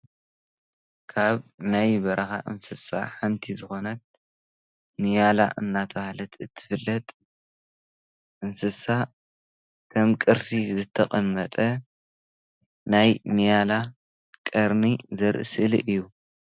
ካብ ናይ በረካ እንስሳ ሓንቲ ዝኾነት ንያላ እንዳተባሃለት እትፍለጥ እንስሳ ከም ቅርሲ ዝተቐመጠ ናይ ንያላ ቀርኒ ዘርኢ ስእሊ እዩ።